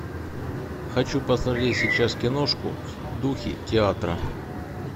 хочу посмотреть сейчас киношку в духе театра